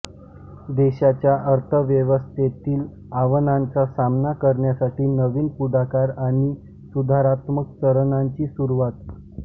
देशाच्या अर्थव्यवस्थेतील आव्हानांचा सामना करण्यासाठी नवीन पुढाकार आणि सुधारात्मक चरणांची सुरूवात